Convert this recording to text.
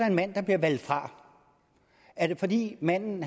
en mand der bliver valgt fra er det fordi manden